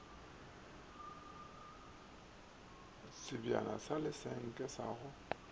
sebjana sa lesenke sa go